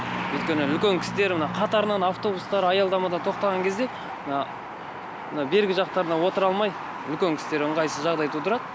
өйткені үлкен кісілер мына қатарынан автобустар аялдамада тоқтаған кезде мына бергі жақтарына отыра алмай үлкен кісілерге ыңғайсыз жағдай тудырады